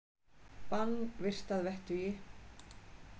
Bann virt að vettugi